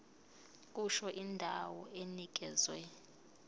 kusho indawo enikezwe